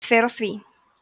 best fer á því